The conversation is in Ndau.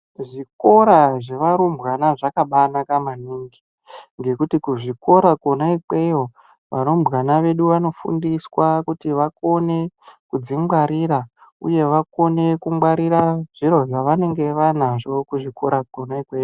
Kuzvikora zvevarumbwana zvakabanaka maningi ngekuti kuzvikora kona ikweyo varumbwana vedu vanofundiswa kuti vakone kudzingwarira uye vakone kungwarirwa zviro zvavanenge vainazvo kuzvikora Kona ikweyo.